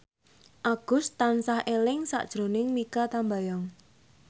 Agus tansah eling sakjroning Mikha Tambayong